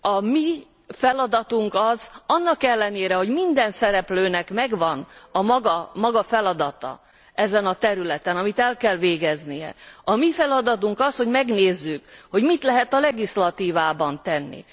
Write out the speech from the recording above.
A mi feladatunk az, hogy annak ellenére, hogy minden szereplőnek megvan a maga feladata ezen a területen, amit el kell végeznie, a mi feladatunk az, hogy megnézzük, hogy mit lehet a jogalkotás területén tenni.